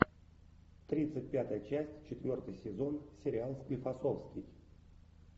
тридцать пятая часть четвертый сезон сериал склифосовский